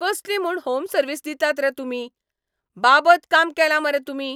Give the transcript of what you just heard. कसली म्हूण home service दितात रे तुमी, बाबत काम केलां मरे तुमी.